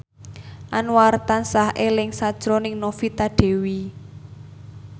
Anwar tansah eling sakjroning Novita Dewi